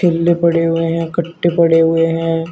पड़े हैं कट्टे पड़े हैं।